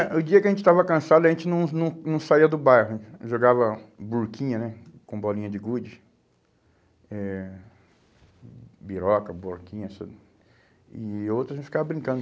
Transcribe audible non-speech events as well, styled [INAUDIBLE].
É, o dia que a gente estava cansado, a gente não não não saía do bairro, jogava burquinha, né, com bolinha de gude, eh biroca, burquinha, [UNINTELLIGIBLE] e outras a gente ficava brincando.